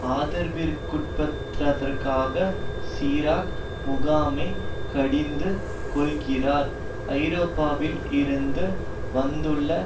ஆதரவிற்குட்படுத்தாதற்காக Chirac முகாமை கடிந்து கொள்ளுகிறார் ஐரோப்பாவில் இருந்து வந்துள்ள